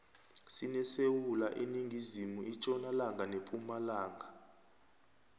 sinesewula iningizimu itjonalanga nepumalanga